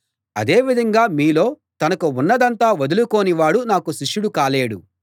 అదే విధంగా మీలో తనకు ఉన్నదంతా వదులుకోని వాడు నాకు శిష్యుడు కాలేడు